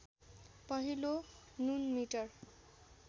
पहिलो नुन मिटर